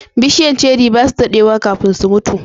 bishiyan ceri basu daɗewa kafin su mutu